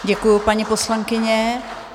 Děkuji, paní poslankyně.